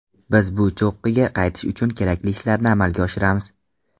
Biz bu cho‘qqiga qaytish uchun kerakli ishlarni amalga oshiramiz.